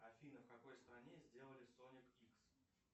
афина в какой стране сделали соник икс